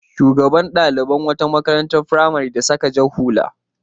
Shugaban ɗalibai na wata makarantar firamare da saka jar hula.